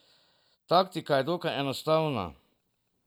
Taktika je dokaj enostavna.